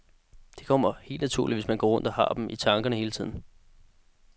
Det kommer helt naturligt, hvis man går rundt og har dem i tankerne hele tiden.